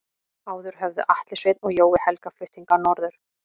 Áður höfðu Atli Sveinn og Jói Helga flutt hingað norður.